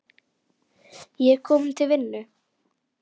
Ég er kominn til vinnu.